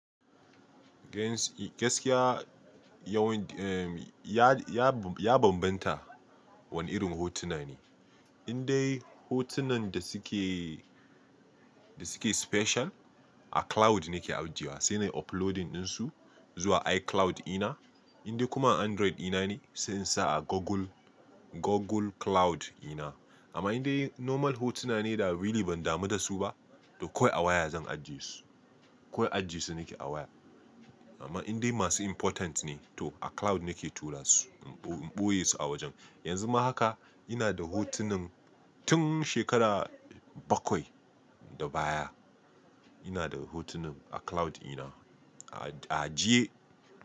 Gaskiya yawanci ya, ya, ya bambanta wane irin hotuna ne. Indai hotunan da suke, da suke special a cloud nake ajiyewa, sai na uploading ɗinsu zuwa iCloud ina. Indai kuma Android ina ne sai in sa a Google, Google Cloud ina. Amma indai normal hotuna ne da really ban damu da su ba, to kawai a waya zan ajie su. Kawai ajie su nake a waya. Amma indai masu important ne to a cloud nake tura su, in ɓoye su a wajen. Yanzu ma haka ina da hotunan tun shekara bakwai da baya. Ina da hotunan a cloud ina, a ajiye.